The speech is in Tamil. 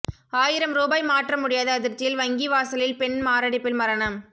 ஆயிரம் ரூபாய் மாற்ற முடியாத அதிர்ச்சியில் வங்கி வாசலில் பெண் மாரடைப்பில் மரணம்